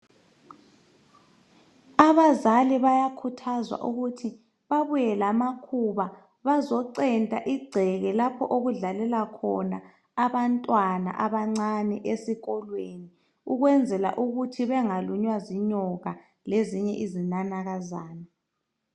Abazali bayakhuthazwa ukuthi babuye lamakhuba bazocenta igceke lapho okudlalela khona abantwana abancane esikolweni ukwenzela ukuthi bengalunywa zinyoka lezinye izinanakazana.